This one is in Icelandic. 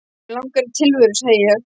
Mig langar í tilveru, segi ég.